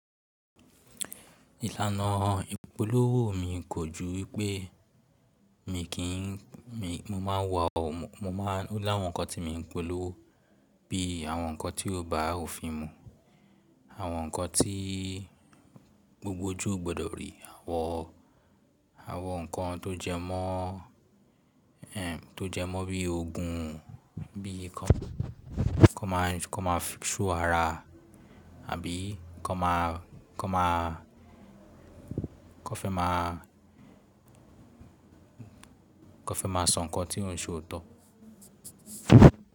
Ìlànà ìpolówó mi kò ju wípé mi kì n mi mo ma ń wo a mo ma ń o láwọn ǹkan tí mi ń polówó bií àwọn ǹkan tí ó bá òfin mu, àwọn ǹkan tí gbogbo ojú o gbọdọ̀ rí, àwọn àwọn nǹkan tó jẹ mọ́ tó jẹ mọ́ bí ogun bíi kan máa kan máa show àrà àbí kan máa kan máa kan fẹ́ máa kan fẹ́ máa sọ nǹkan tí òun ṣe òótọ́.